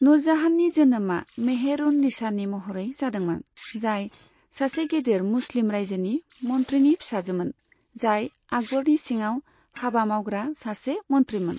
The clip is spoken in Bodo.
नुरजाहाननि जोनोमा मेहर उन निसानि महरै जादोंमोन, जाय सासे गेदेर मुस्लिम रायजोनि मन्थ्रिनि फिसाजोमोन, जाय आकबरनि सिङाव हाबा मावग्रा सासे मन्थ्रिमोन।